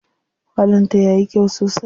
Falon ta yayi kyau sosai.